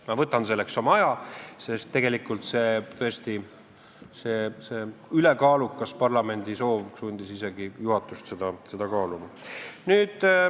Ma võtan selleks aega, sest, tõesti, parlamendi ülekaalukas soov sundis isegi juhatust seda kaaluma.